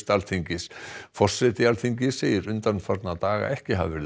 Alþingis forseti Alþingis segir undanfarna daga ekki hafa verið